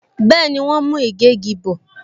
Bẹẹni, wọn ń mú ìgégi bò